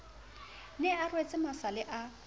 ne a rwetse masale a